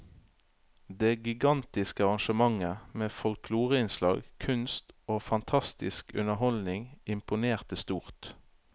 Det gigantiske arrangementet med folkloreinnslag, kunst og fantastisk underholdning imponerte stort.